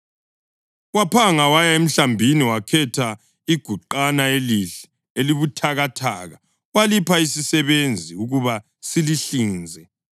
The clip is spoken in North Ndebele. Waphanga waya emhlambini wakhetha iguqana elihle, elibuthakathaka walipha isisebenzi ukuba silihlinze.